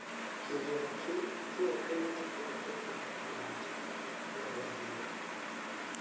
kĩgĩĩna kĩu kĩoĩkaine ta 'kĩhooto kia Mũndũ-wa-nja gia Gũthuura'.